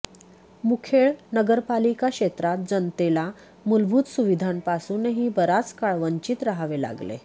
मुखेड नगरपालिका क्षेत्रात जनतेला मूलभूत सुविधांपासूनही बराच काळ वंचित राहावे लागले